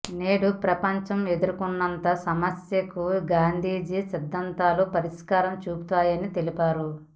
నేడు ప్రపంచం ఎదుర్కుంటున్న సమస్యలకు గాంధీజీ సిద్ధాంతాలు పరిష్కారం చూపిస్తాయని చెప్పారు